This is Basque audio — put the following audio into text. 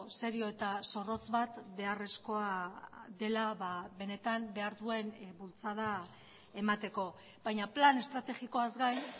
serio eta zorrotz bat beharrezkoa dela benetan behar duen bultzada emateko baina plan estrategikoaz gain